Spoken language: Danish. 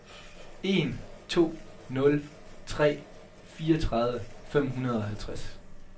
en to nul tre fireogtredive fem hundrede og halvtreds